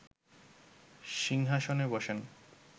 সিংহাসনে বসেন